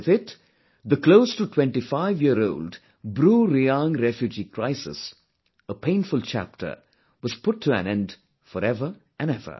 With it, the closeto25yearold BruReang refugee crisis, a painful chapter, was put to an end forever and ever